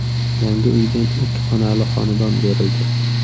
Yangi uydan ikki xonali xonadon berildi.